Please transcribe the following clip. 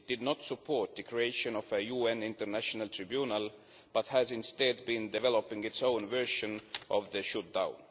It did not support the creation of a UN international tribunal but has, instead, been developing its own version of the shooting down.